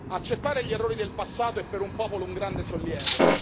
Accettare gli errori del passato è per un popolo un grande sollievo.